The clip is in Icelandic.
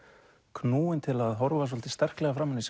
knúin til að horfa svolítið sterklega framan í